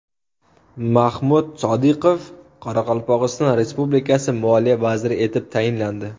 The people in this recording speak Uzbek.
Mahmud Sodiqov Qoraqalpog‘iston Respublikasi moliya vaziri etib tayinlandi.